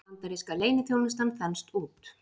Bandaríska leyniþjónustan þenst út